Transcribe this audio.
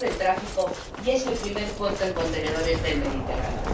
del tráfico y es el primer puerto en contenedores del Mediterráneo.